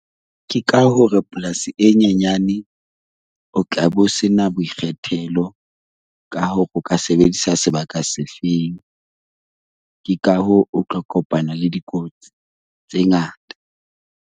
Ke ka hore polasi e nyenyane o tla bo sena boikgethelo ka hore o ka sebedisa sebaka se feng ke ka hoo o tlo kopana le dikotsi tse ngata.